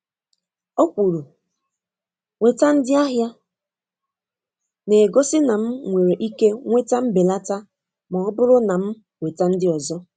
Ọ kwuru, “Weta ndị ahịa,” na-egosi na m nwere ike nweta mbelata ma ọ bụrụ na m weta ndị ọzọ.